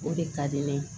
O de ka di ne ye